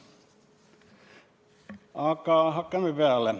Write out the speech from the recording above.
Aga hakkame peale.